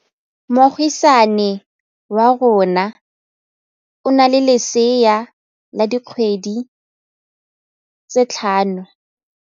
Moagisane wa rona o na le lesea la dikgwedi tse tlhano.